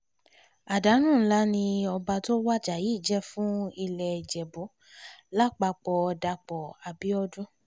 àdánù ńlá ni ọba tó wájà yìí jẹ́ fún ilé ìjẹ̀bù lápapọ̀dàpọ̀ abiodun